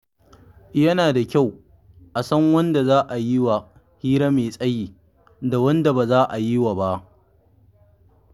Yana da kyau a san wanda za a yi wa hira mai tsayi da wanda ba za a yi wa ba.